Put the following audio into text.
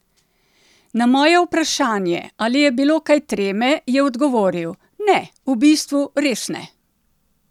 Na moje vprašanje, ali je bilo kaj treme, je odgovoril: "Ne, v bistvu, res ne!